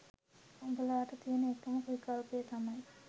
උඹලාට තියෙන එකම විකල්පය තමයි